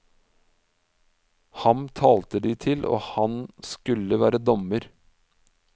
Ham talte de til, og han skulle være dommer.